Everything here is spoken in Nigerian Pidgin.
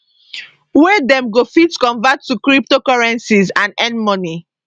wey dem go fit convert to cryptocurrencies and earn money